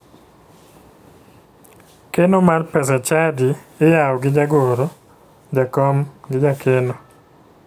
Keno mar pesa chadi iyawo gi jagoro, jakom gi jakeno